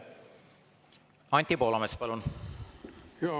Anti Poolamets, palun!